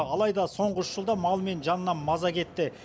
алайда соңғы үш жылда мал мен жаннан маза кетті